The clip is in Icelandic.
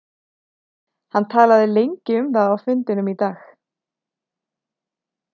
Hann talaði lengi um það á fundinum í dag.